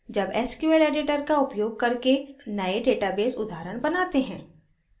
अब sql editor का उपयोग करके नये database उदाहरण बनाते हैं